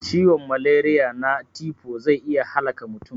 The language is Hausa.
Ciwon malariya na tifo zai iya halaka mutum